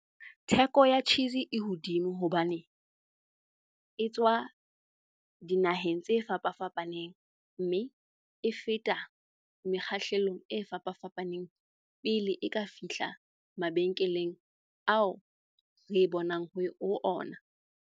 Theko ya cheese e hodimo hobane e tswa dinaheng tse fapafapaneng. Mme e feta mekgahlelong e fapafapaneng pele e ka fihla mabenkeleng ao re e bonang ho ona.